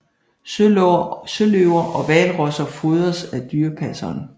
Søløver og hvalrosser fodres af dyrepasseren